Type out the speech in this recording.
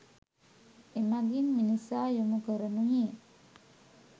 එමගින් මිනිසා යොමු කරනුයේ